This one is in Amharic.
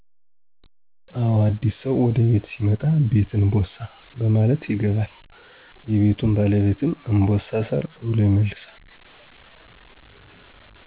አዎ አዲስ ሰው ወደ ቤት ሲመጣ ''ቤት እንቦሳ '' በማለት ይገባል። የቤቱ ባለቤትም ''እንቦሳ እሰር '' ብሎ ይመልሳል